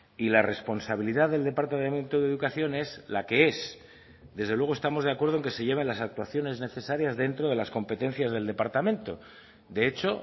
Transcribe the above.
y la responsabilidad del departamento de educación es la que es desde luego estamos de acuerdo en que se lleven las actuaciones necesarias dentro de las competencias del departamento de hecho